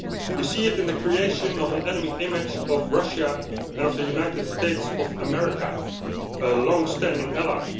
We see it in the creation of an enemy image of Russia and of the United States of America, a long standing ally.